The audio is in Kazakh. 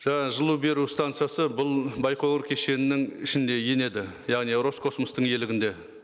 жаңағы жылу беру станциясы бұл байқоңыр кешенінің ішінде енеді яғни роскосмостың иелігінде